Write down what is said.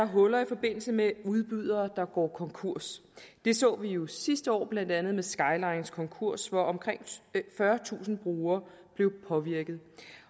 huller i forbindelse med udbydere der går konkurs det så vi jo sidste år blandt andet med skylines konkurs hvor omkring fyrretusind brugere blev påvirket